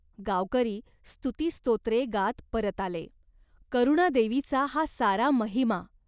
गावकरी स्तुतिस्तोत्रे गात परत आले. "करुणादेवीचा हा सारा महिमा.